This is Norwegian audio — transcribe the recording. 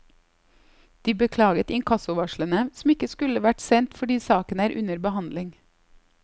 De beklaget inkassovarslene, som ikke skulle vært sendt fordi saken er under behandling.